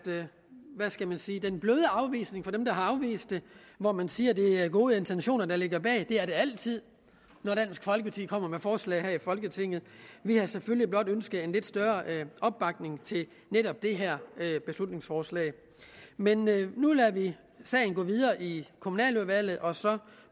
en blød afvisning fra dem der har afvist det hvor man siger at det er gode intentioner der ligger bag det er der altid når dansk folkeparti kommer med forslag her i folketinget vi havde selvfølgelig blot ønsket en lidt større opbakning til netop det her beslutningsforslag men nu lader vi sagen gå videre i kommunaludvalget og så